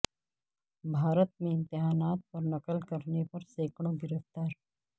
بھارت میں امتحانات میں نقل کرنے پر سینکڑوں گرفتار